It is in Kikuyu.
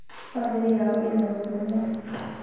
Bamĩrĩ yao ĩna ũrũmwe